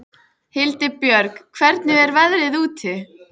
Hildibjörg, hvernig er veðrið úti?